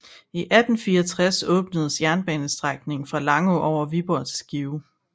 I 1864 åbnedes jernbanestrækningen fra Langå over Viborg til Skive